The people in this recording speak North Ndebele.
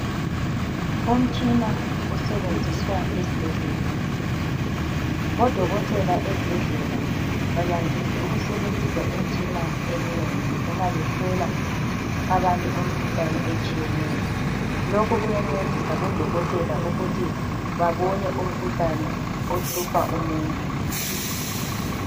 Umtshina osebenziswa esbhedlela. Bodokotela esbhedlela bayandis' ukusebenzisa imtshina emnengi uma behlola abantu imkhuhlane etshiyeneyo. Lokhu kuyancedisa bodokotela ukuthi babone umkhuhlane ohlupha umuntu.